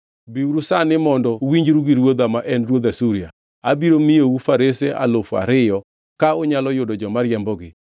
“ ‘Biuru sani mondo uwinjru gi ruodha, ma en ruodh Asuria: Abiro miyou farese alufu ariyo, ka unyalo yudo joma riembogi!